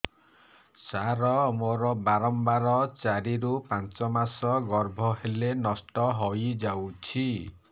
ସାର ମୋର ବାରମ୍ବାର ଚାରି ରୁ ପାଞ୍ଚ ମାସ ଗର୍ଭ ହେଲେ ନଷ୍ଟ ହଇଯାଉଛି